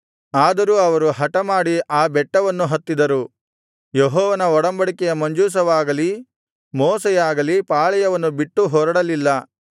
ಆದರೂ ಅವರು ಹಟಮಾಡಿ ಆ ಬೆಟ್ಟವನ್ನು ಹತ್ತಿದರು ಯೆಹೋವನ ಒಡಂಬಡಿಕೆಯ ಮಂಜೂಷವಾಗಲಿ ಮೋಶೆಯಾಗಲಿ ಪಾಳೆಯವನ್ನು ಬಿಟ್ಟು ಹೊರಡಲಿಲ್ಲ